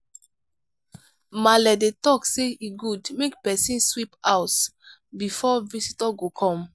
maale dey talk sey e good make pesin sweep house before visitor go come.